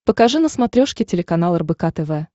покажи на смотрешке телеканал рбк тв